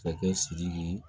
Masakɛ siriki